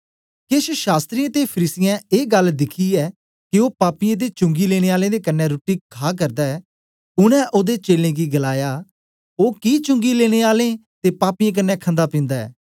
केश शास्त्रियें ते फरीसियें ए गल्ल दिखियै के ओ पापियें ते चुंगी लेने आलें दे कन्ने रुट्टी खा करदा ऐ उनै ओदे चेलें गी गलाया ओ कि चुंगी लेने आलें ते पापियें कन्ने खंदा पिन्दा ऐ